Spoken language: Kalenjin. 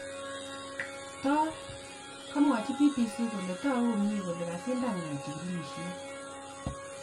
tor, komwachi BBC kole tagu komyee kole kasindangoo chigilisiet